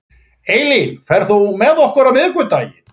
Eylín, ferð þú með okkur á miðvikudaginn?